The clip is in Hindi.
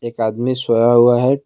एक आदमी सोया हुआ है।